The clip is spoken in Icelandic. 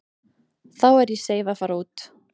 Þá er ég seif að fara út.